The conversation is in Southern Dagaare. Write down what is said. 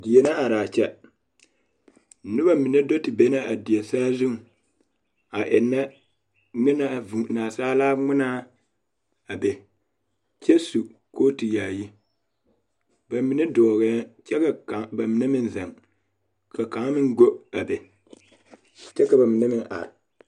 Die la are a kyɛ noba mine do te be la a die saazuŋ a ennɛ naasaalaa ŋmenaa a be kyɛ su kooti yaayi be mine dɔɔɛ la kyɛ ka ba mine meŋ zeŋ ka kaŋ meŋ ɡo a be kyɛ ka ba mine meŋ are.